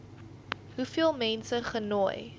hoeveel mense genooi